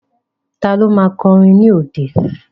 Ta ló ma kọrin ní òde?